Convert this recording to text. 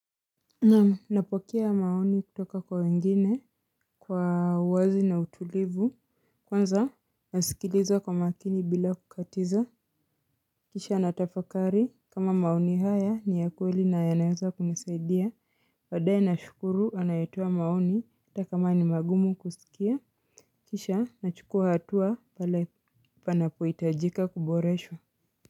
Naam napokea maoni kutoka kwa wengine kwa uwazi na utulivu. Kwanza nasikiliza kwa makini bila kukatiza. Kisha natafakari kama maoni haya ni ya kweli na yanaeza kunisaidia baadae nashukuru anayetoa maoni hata kama ni magumu kusikia. Kisha nachukua hatua pale panapohitajika kuboreshwa.